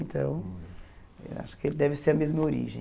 Então, eu acho que deve ser a mesma origem.